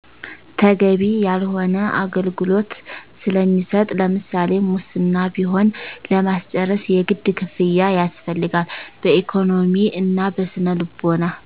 ተገቢ ያልሆነ አገልግሎት ስለሚሰጥ ለምሳሌ ሙስና ቢሆን ለማስረጭ የግድ ክፍያ ያስፈልጋል በኢኮኖሚ እና በስነ ልቦና